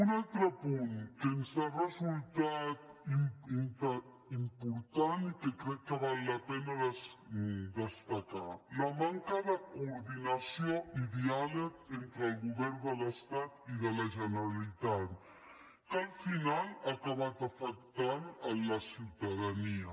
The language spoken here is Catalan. un altre punt que ens ha resultat important i que crec que val la pena de destacar la manca de coordinació i diàleg entre els governs de l’estat i la generalitat que al final ha acabat afectant la ciutadania